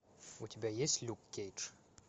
у тебя есть люк кейдж